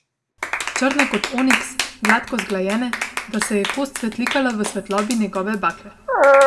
Črne kot oniks, gladko zglajene, da se je kost svetlikala v svetlobi njegove bakle.